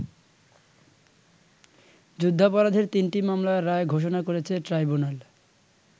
যুদ্ধাপরাধের তিনটি মামলার রায় ঘোষণা করেছে ট্রাইব্যুনাল।